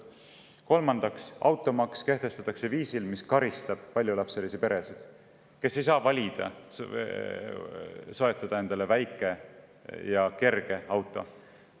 Kolmandaks, automaks kehtestatakse viisil, mis karistab paljulapselisi peresid, kellel ei ole võimalik soetada väikest ja kerget autot.